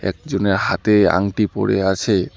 একজনের হাতে আংটি পরে আছে।